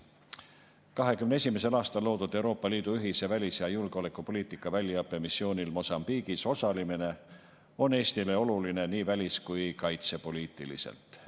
2021. aastal loodud Euroopa Liidu ühise välis‑ ja julgeolekupoliitika väljaõppemissioonil Mosambiigis osalemine on Eestile oluline nii välis‑ kui ka kaitsepoliitiliselt.